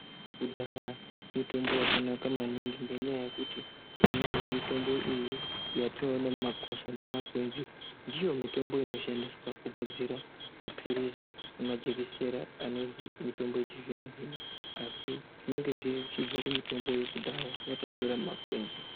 Kudaya mitombo yakanaka maningi ngenyaya yekuti imweni yemitombo iyi yatinowona mumakwasha nemumakwenzi ndiyo mitombo inoshandiswa kugadzira mapirisi nemajekisera anonzi mitombo yechizvino zvino. Asi zvinenge zvichibva kumitombo yakudhaya yatayitora mumakwenzi